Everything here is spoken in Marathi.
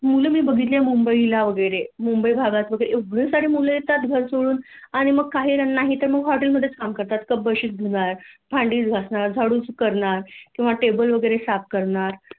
मुल मी बघितलीय मुबंईला वैगरे मुबंई भागात एवढे सारे मुले येतात घर सोडून आणि मग काहीजण हॉटेल मध्येच काम करतात कप बशीच धुणार भांडीच घासणार झाडूच करणार किंवा टेबल वैगरे साफ करणार